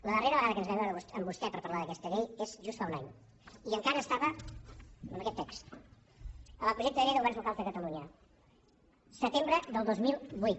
la darrera vegada que ens vam veure amb vostè per parlar d’aquesta llei va ser just fa un any i encara estava amb aquest text avantprojecte de llei de governs locals de catalunya setembre del dos mil vuit